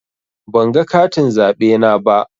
Ban ga katin zaɓe na ba.